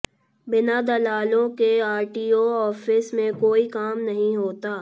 बिना दलालों के आरटीओ आॅफिस में कोई काम नहीं होता